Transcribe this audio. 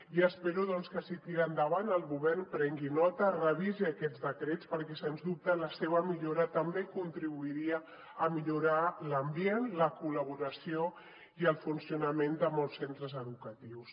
i espero doncs que si tira endavant el govern en prengui nota revisi aquests decrets perquè sens dubte la seva millora també contribuiria a millorar l’ambient la col·laboració i el funcionament de molts centres educatius